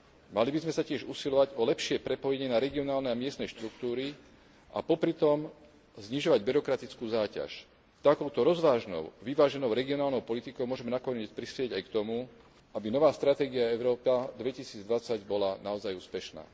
Mali by sme sa tiež usilovať o lepšie prepojenie na regionálne a miestne štruktúry a popritom znižovať byrokratickú záťaž. Takouto rozvážnou, vyváženou regionálnou politikou môžeme nakoniec prispieť aj k tomu, aby nová stratégia Európa 2020 bola naozaj úspešná.